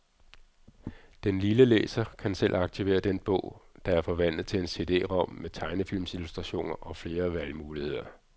Den lille læser kan selv aktivere den bog, der er forvandlet til en CD-ROM med tegnefilmsillustrationer og flere valgmuligheder.